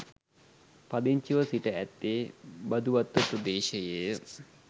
පදිංචිව සිට ඇත්තේ බදුවත්ත ප්‍රදේශයේය.